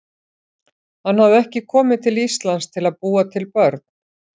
Hann hafði ekki komið til Íslands til að búa til börn.